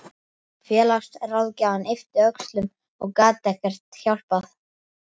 Félagsráðgjafinn yppti öxlum og gat ekkert hjálpað.